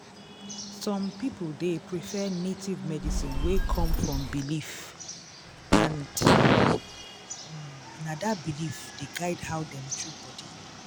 um some people dey prefer native medicine wey come from belief and um na dat belief um dey guide how dem treat body.